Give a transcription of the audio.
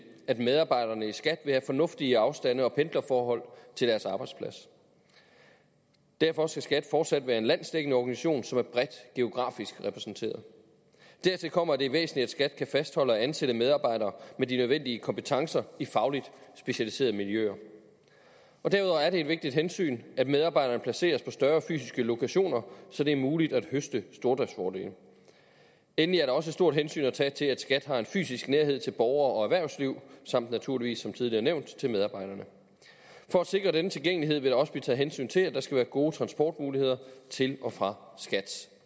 at medarbejderne i skat vil have fornuftige afstande og pendlerforhold til deres arbejdsplads derfor skal skat fortsat være en landsdækkende organisation som er bredt geografisk repræsenteret dertil kommer at det er væsentligt at skat kan fastholde og ansætte medarbejdere med de nødvendige kompetencer i fagligt specialiserede miljøer og derudover er det et vigtigt hensyn at medarbejderne placeres på større fysiske lokationer så det er muligt at høste stordriftsfordele endelig er der også et stort hensyn at tage til at skat har en fysisk nærhed til borgere og erhvervsliv samt naturligvis som tidligere nævnt til medarbejderne for at sikre denne tilgængelighed vil der også blive taget hensyn til at der skal være gode transportmuligheder til og fra skats